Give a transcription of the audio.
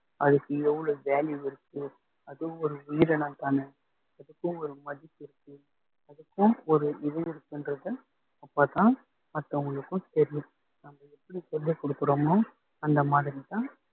அதுக்கு எவ்வளவு value இருக்கு அதுவும் ஒரு உயிரினம்தானே அதுக்கும் ஒரு மதிப்பு இருக்கு அதுக்கும் ஒரு இது இருக்குன்றதை அப்பதான் மத்தவங்களுக்கும் தெரியும் நம்ம எப்படி சொல்லிக் கொடுக்குறோமோ அந்த மாதிரிதான்